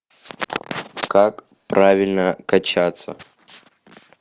как правильно качаться